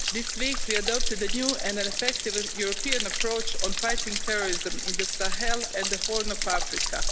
This week we adopted the new and an effective European approach on fighting terrorism in the Sahel and the Horn of Africa.